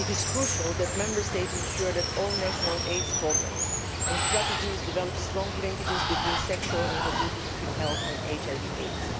It is crucial that Member States ensure that all national AIDS programmes and strategies develop strong linkages between sexual and reproductive health and HIV AIDS.